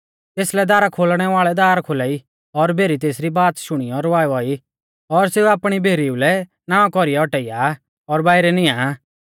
तेसलै दारा खोलणै वाल़ै दार खोलाई और भेरी तेसरी बाच़ शुणीयौ रवावा ई और सेऊ आपणी भेरीउ लै नावां कौरीऐ औटाइया और बाइरै नियां आ